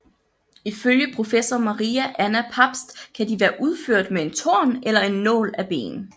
Ifølge professor Maria Anna Pabst kan de være udført med en torn eller en nål af ben